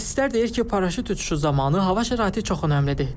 Mütəxəssislər deyir ki, paraşüt uçuşu zamanı hava şəraiti çox önəmlidir.